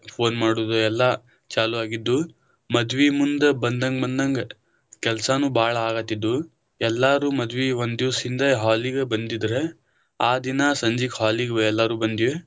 Phone ಮಾಡುದ ಎಲ್ಲಾ ಚಾಲು ಆಗಿದ್ವ, ಮದ್ವಿ ಮುಂದ ಬಂದಂಗ ಬಂದಂಗ ಕೆಲಸಾನೂ ಬಾಳ ಆಗತಿದ್ದವು ಎಲ್ಲರೂ ಮದ್ವಿ ಒಂದ ದಿವಸ ಹಿಂದ hall ಗ ಬಂದಿದ್ರ ಆ ದಿನಾ ಸಂಜಿಕ hall ಗ ಎಲ್ಲರೂ ಬಂದಿವಿ.